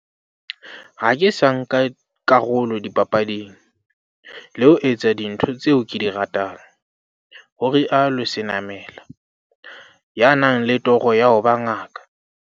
"Ha ke sa nka karolo dipapading, le ho etsa dintho tseo ke di ratang," ho rialo Senamela, ya nang le toro ya ho ba ngaka.